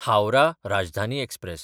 Howrah Rajdhani express